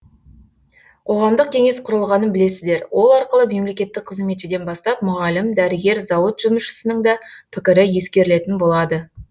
қоғамдық кеңес құрылғанын білесіздер ол арқылы мемлекеттік қызметшіден бастап мұғалім дәрігер зауыт жұмысшысының да пікірі ескерілетін болады